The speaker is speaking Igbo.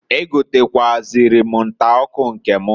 E gotekwuazịrị m nta ọkụ nke m.